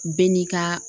Bɛɛ n'i ka